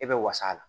E bɛ wasa la